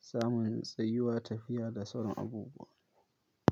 samun tsayuwa, tafiya da sauran abubuwa.